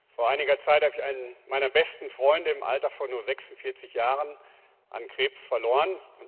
Vor einiger Zeit habe ich einen meiner besten Freunde im Alter von nur 46 Jahren an Krebs verloren.